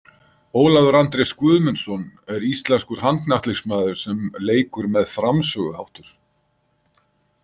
Ólafur Andrés Guðmundsson er íslenskur handknattleiksmaður sem leikur með framsöguháttur